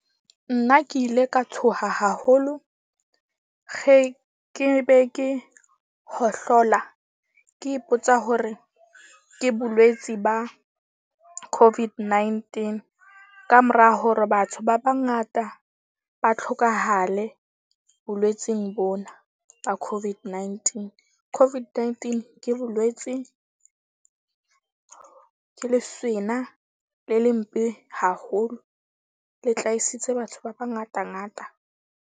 Nna ke ile ka tshoha haholo, ge ke be ke hohlola. Ke ipotsa hore ke bolwetsi ba COVID-19 kamora hore batho ba bangata ba tlhokahale bolwetseng bona ba COVID-19. COVID-19 ke bolwetsi ke le le mpe haholo, le tlaisitse batho ba bangata ngata.